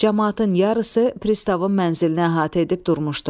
Camaatın yarısı pristavın mənzilini əhatə edib durmuşdu.